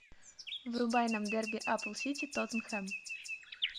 врубай нам дерби апл сити тоттенхэм